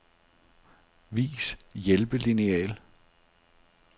Vis hjælpelineal.